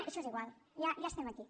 això és igual ja estem aquí